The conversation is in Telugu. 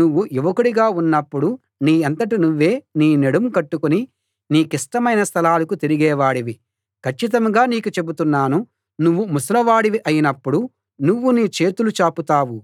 నువ్వు యువకుడిగా ఉన్నప్పుడు నీ అంతట నువ్వే నీ నడుం కట్టుకుని నీకిష్టమైన స్థలాలకు తిరిగే వాడివి కచ్చితంగా నీకు చెబుతున్నాను నువ్వు ముసలి వాడివి అయినప్పుడు నువ్వు నీ చేతులు చాపుతావు